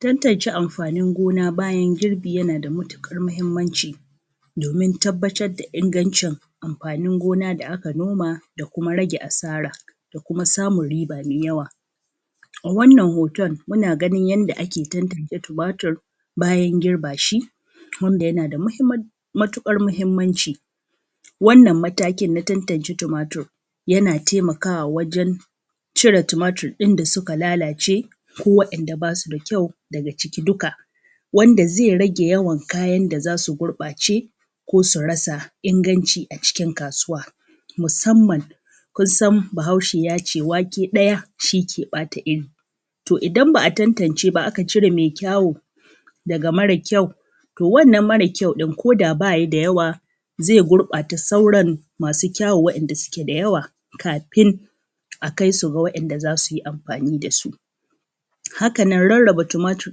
tantance amfanin gona bayan girbi yana da matuƙar muhimmanci domin tabbatar da ingancin amfanin gona da aka noma da kuma rage asara da kuma samun riba mai yawa wannan hoton muna ganin yanda ake tantance tumatir bayan girba shi wanda yana da matuƙar muhimmanci wannan matakin na tantance tumatir yana taimakawa wajen cire tumatir ɗin da suka lallace ko waɗanda basu da kyau daga ciki dukka wanda zai rage yawan kayan da zasu gurɓace ko su rasa inganci a cikin kasuwa musamman kun san bahaushe yace wake ɗaya shi ke ɓata iri to idan ba a tantance ba aka cire mai kyau daga mara kyau to wannan mara kyau ɗin ko da baya da yawa zai gurɓata sauran masu kyau wa inda suke da yawa kafin a kaisu ga waɗanda zasu yi amfani dasu haka nan rarraba tumatir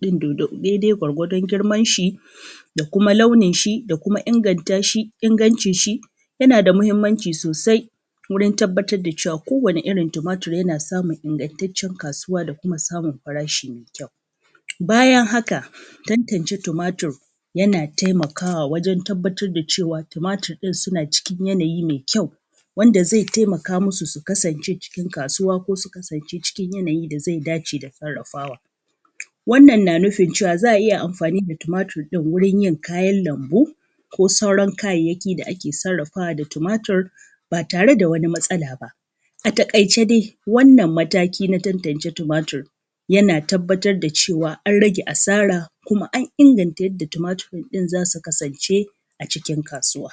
ɗin daidai gwargwadon girman shi da kuma launin shi da kuma inganta shi ingancin shi yana da muhimmanci sosai wurin tabbatar da cewa kowanni irin tumatir yana samun ingantaccen kasuwa da kuma samun farashi mai kyau bayan haka tantance tumatir yana taimakawa wajen tabbatar da cewa tumatir ɗin suna cikin yanayi mai kyau wanda zai taimaka musu su kasance cikin kasuwa ko su kasance cikin yanayin da zai dace da sarafawa wannan na nufin cewa za a iya amfani da tumatir ɗin wajen yin kayan lambu ko sauran kayayyaki da ake sarafawa da tumatir ba tare da wani matsala ba a taƙaice dai wannan mataki na tantance tumatir yana tabbatar da cewa an rage asara kuma an inganta yadda tumatirin zasu kasance a cikin kasuwa